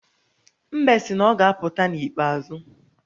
Mbe sị na ọ ga-apụta n’ikpeazụ